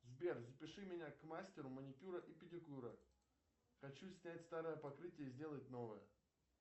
сбер запиши меня к мастеру маникюра и педикюра хочу снять старое покрытие и сделать новое